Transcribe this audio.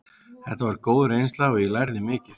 Þetta var góð reynsla og ég lærði mikið.